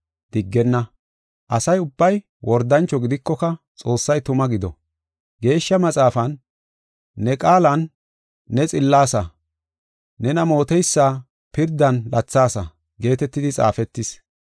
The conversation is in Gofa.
Diggenna! Asa ubbay wordancho gidikoka Xoossay tuma gido. Geeshsha Maxaafan, “Ne qaalan ne xillaasa; nena mooteysa pirdan lathaasa” geetetidi xaafetis.